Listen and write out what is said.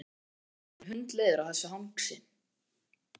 Hann var orðinn hundleiður á þessu hangsi.